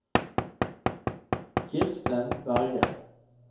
Kirsten Berge